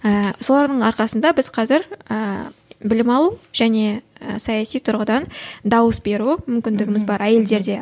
ііі солардың арқасында біз қазір ііі білім алу және саяси тұрғыдан дауыс беру мүмкіндігіміз бар әйелдерде